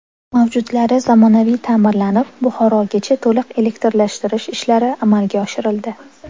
Mavjudlari zamonaviy ta’mirlanib, Buxorogacha to‘liq elektrlashtirish ishlari amalga oshirildi.